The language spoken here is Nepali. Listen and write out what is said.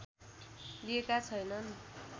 लिएका छैनन्